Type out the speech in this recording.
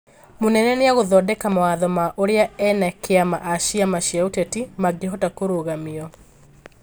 mũnene niagũthondeka mawatho ma ũria ene kĩama a ciama cĩa ũteti mangĩhota kũrũgamio